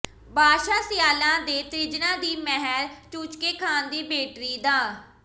ਬਾਦਸ਼ਾਹ ਸਿਆਲਾਂ ਦੇ ਤ੍ਰਿੰਜਨਾ ਦੀ ਮਹਿਰ ਚੂਚਕੇ ਖਾਨ ਦੀ ਬੇਟੜੀ ਦਾ